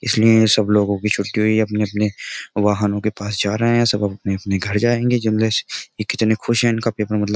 इसलिए सब लोगों की छुट्टी हुई है अपने-अपने वाहनों के पास जा रहे हैं सब अपने-अपने घर जाएंगे जनलेस ये कितने खुश हैं इनका पेपर मतलब --